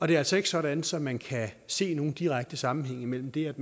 det er altså ikke sådan så man kan se nogen direkte sammenhæng mellem det at